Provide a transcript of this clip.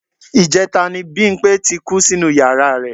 Ìjẹta ni Bímpé ti kú sínú yàra rẹ̀